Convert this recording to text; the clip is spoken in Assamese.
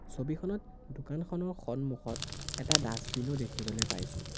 ছবিখনত দোকানখনৰ সন্মুখত এটা ডাচবিন ও দেখিবলে পাইছোঁ।